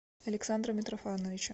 александра митрофановича